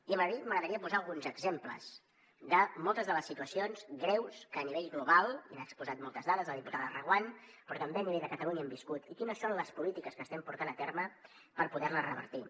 i m’agradaria posar alguns exemples de moltes de les situacions greus que a nivell global i n’ha exposat moltes dades la diputada reguant però també a nivell de catalunya hem viscut i quines són les polítiques que estem portant a terme per poder les revertir